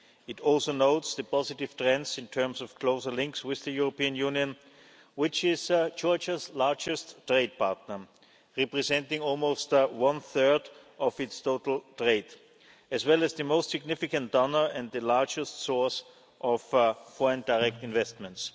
It also notes the positive trends in terms of closer links with the European Union, which is Georgia's largest trade partner, representing almost one third of its total trade, as well as the most significant donor and the largest source of foreign direct investments.